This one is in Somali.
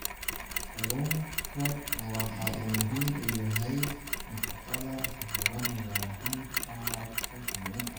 Kalluunku waxa uu muhiim u yahay nafaqada xoolaha, gaar ahaan tacabka kalluunka.